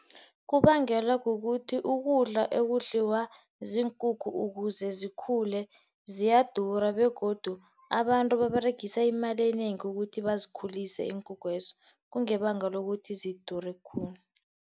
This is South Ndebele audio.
Kubangelwa kukuthi ukudla ekudliwa ziinkukhu ukuze zikhule ziyadura begodu abantu baberegisa imali enengi ukuthi bazikhulise iinkukhu lezo. Kungebangelo ukuthi zidure khulu.